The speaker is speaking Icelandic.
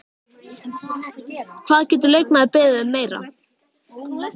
Hvað getur leikmaður beðið um meira?